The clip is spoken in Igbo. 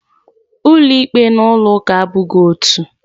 Ulo ikpe na ulo uka abughi otu.